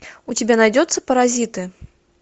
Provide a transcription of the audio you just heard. у тебя найдется паразиты